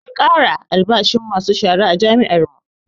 An ƙara albashin masu shara a jami'ar mu